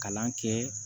Kalan kɛ